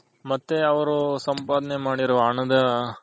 ಮತ್ತೆ ಅವ್ರು ಸಂಪಾದನೆ ಮಾಡಿರೋ ಹಣದ